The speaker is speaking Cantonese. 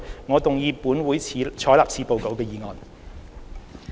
我動議"本會採納此報告"的議案。